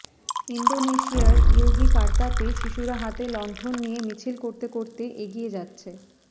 ইন্দোনেশিয়ার ইয়োগিকার্তাতে শিশুরা হাতে লণ্ঠন নিয়ে মিছিল করতে করতে করতে এগিয়ে যাচ্ছে